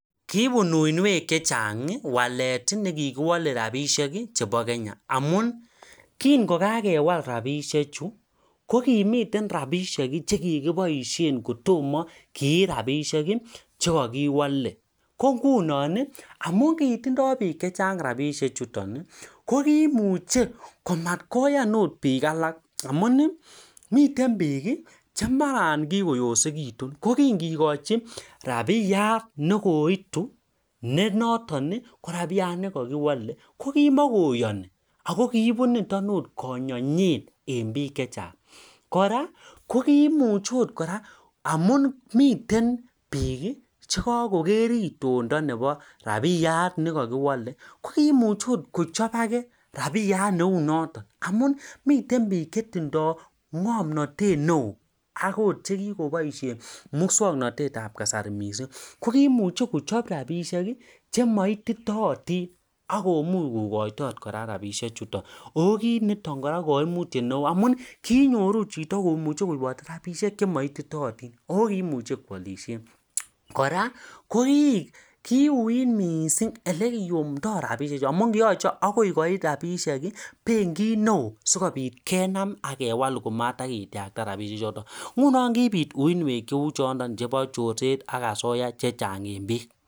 Kimitei rabishek chetai ikumuchee metan bik cheuu che osen amuu kimakoyanii chepkondok chekaituu kora kichop bik chepkondok cheuu chotok koraa